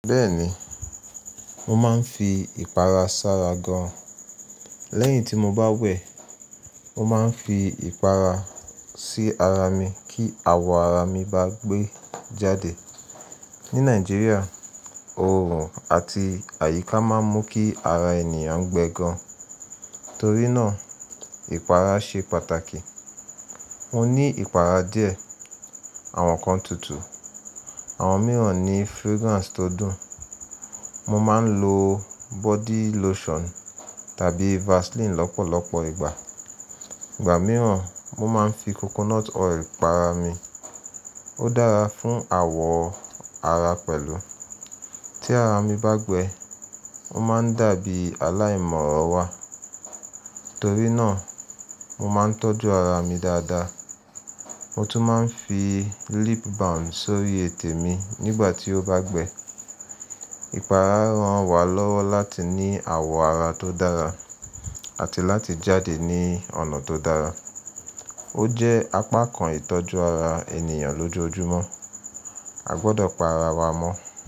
Bẹ́ẹ̀ni, mo máa ń fi ìpara sára gan. Lẹ́yìn tí mo bá wẹ̀, mo máa ń fi ìpara sí ara mi kí àwọ̀ ara mi bá gbé jáde. Ní Nàìjíríà, oòrùn àti àyíká máa ń mú kí ara ènìyàn gbẹ gan. Torí náà ìpara ṣe pàtàkì. Mo ní ìpara díẹ̀, àwọn kan tutù, àwọn mìíràn ní fragrance tó dùn. Mo máa ń lo body lotion tàbí Vaseline lọ́pọ̀lọpọ̀ ìgbà. Ìgbà mìíràn mo máa ń fi coconut oil pa ara mi. Ó dára fún àwọ̀ ara pẹ̀lú. Tí ara mi bá gbẹ, ó máa ń dàbí aláìmọ̀ràn wà. Torí náà mo máa ń tọ́jú ara mi dáadáa. Mo tún máa ń fi lip balm sórí ètè mi nígbà tí ó bá gbẹ. Ìpara ran wa lọ́wọ́ láti ní àwọ̀ ara tó dára àti láti jáde ní ọ̀nà tó dára. Ó jẹ́ apá kan ìtọ́jú ara ènìyàn lójoojúmọ́. A gbọdọ̀ pa ara wa mọ́.